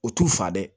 O t'u fa dɛ